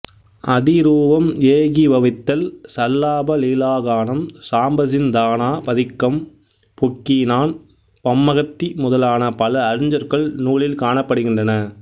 அதிரூபம் ஏகீபவித்தல் சல்லாப லீலாகானம் சாம்பசின் தானா பதிக்கம் புக்கினான் பம்மகத்தி முதலான் பல அருஞ்சொற்கள் நூலில் காணப்படுகின்றன